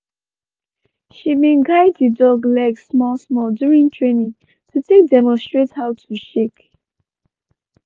she been guide the dog leg small small during training to take demonstrate how to shake.